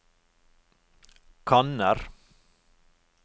kanner